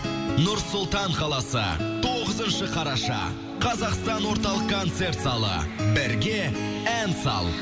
нұр сұлтан қаласы тоғызыншы қараша қазақстан орталық концерт залы бірге ән сал